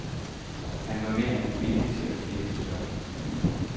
Han var mere end villig til at finde et job.